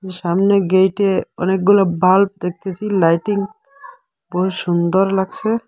সামনে গেইটে অনেকগুলো বাল্ব দেখতেসি লাইটিং বড় সুন্দর লাগসে।